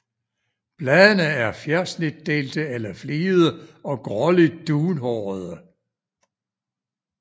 Bladene er fjersnitdelte eller fligede og gråligt dunhårede